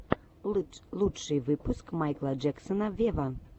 лучший выпуск майкла джексона вево